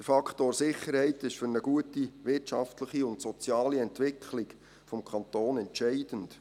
Der Faktor Sicherheit ist für eine gute wirtschaftliche und soziale Entwicklung des Kantons entscheidend.